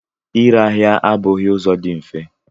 Ịre ahịa abụghị ụzọ dị mfe.